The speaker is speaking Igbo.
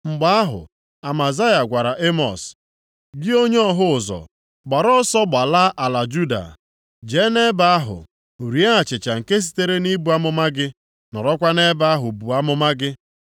Mgbe ahụ, Amazaya gwara Emọs, “Gị onye ọhụ ụzọ, gbara ọsọ gbalaa ala Juda. Jee nʼebe ahụ, rie achịcha nke sitere nʼibu amụma gị, nọrọkwa nʼebe ahụ buo amụma gị.